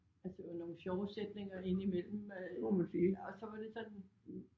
Altså det var nogle sjove sætninger ind imellem øh og så var det sådan